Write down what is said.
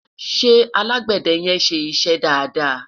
ṣé alágbède yen ṣé iṣẹ dada?